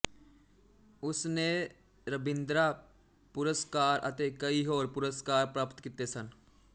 ਉਸ ਨੇ ਰਬਿੰਦਰਾ ਪੁਰਸਕਾਰ ਅਤੇ ਕਈ ਹੋਰ ਪੁਰਸਕਾਰ ਪ੍ਰਾਪਤ ਕੀਤੇ ਸਨ